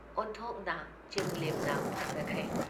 ꯑꯣꯟꯊꯣꯛꯅ ꯆꯤꯡꯂꯦꯝꯅ ꯐꯖꯈ꯭ꯔꯦ ꯫